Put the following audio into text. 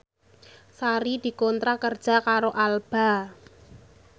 Sari dikontrak kerja karo Alba